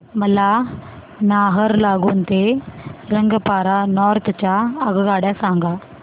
मला नाहरलागुन ते रंगपारा नॉर्थ च्या आगगाड्या सांगा